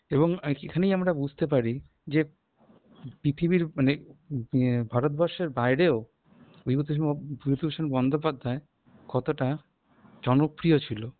এবং এখানে আমরা বুঝতে পারি যে পৃথিবীর মনে এ ভারতবর্ষের বাইরেও বিভূতিভূষ বিভূতিভূষণ বন্দ্যোপাধ্যায় কতটা জনপ্রিয় ছিল